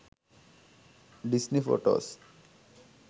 disney photos